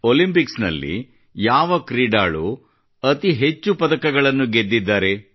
Olympic ನಲ್ಲಿ ಯಾವ ಕ್ರೀಡಾಳು ಅತಿ ಹೆಚ್ಚು ಪದಕಗಳನ್ನು ಗೆದ್ದಿದ್ದಾರೆ